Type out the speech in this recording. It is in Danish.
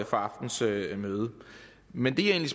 aftenens møde møde men det jeg